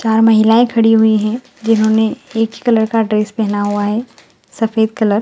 चार महिलाए खड़ी हुई हैं जिन्होंने एक ही कलर का ड्रेस पहना है सफेद कलर --